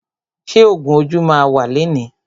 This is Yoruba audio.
Ṣé ògún ojú ma wà lẹni?